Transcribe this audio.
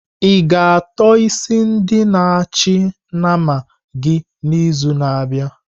I-ga ató isi ndi na achị nama gị n'izu na-abịa?